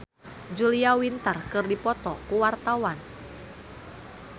Ruth Sahanaya jeung Julia Winter keur dipoto ku wartawan